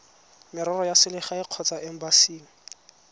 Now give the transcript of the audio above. merero ya selegae kgotsa embasing